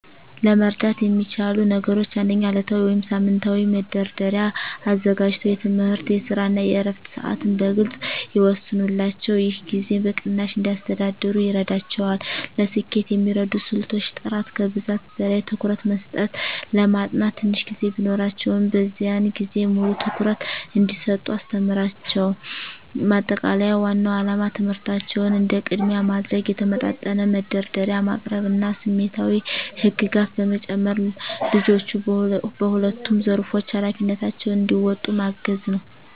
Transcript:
ለመርዳት የሚቻሉ ነገሮች 1. ዕለታዊ ወይም ሳምንታዊ መደርደሪያ አዘጋጅተው የትምህርት፣ የስራ እና የዕረፍት ሰዓትን በግልፅ ይወስኑላቸው። ይህ ጊዜን በቅናሽ እንዲያስተዳድሩ ይረዳቸዋል። ለስኬት የሚረዱ ስልቶች · ጥራት ከብዛት በላይ ትኩረት መስጠት ለማጥናት ትንሽ ጊዜ ቢኖራቸውም፣ በዚያን ጊዜ ሙሉ ትኩረት እንዲሰጡ አስተምሯቸው። ማጠቃለያ ዋናው ዓላማ ትምህርታቸውን እንደ ቅድሚያ ማድረግ፣ የተመጣጠነ መደርደሪያ ማቅረብ እና ስሜታዊ ህግጋት በመጨመር ልጆቹ በሁለቱም ዘርፎች ኃላፊነታቸውን እንዲወጡ ማገዝ ነው።